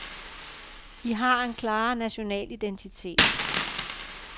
I har en klarere national identitet.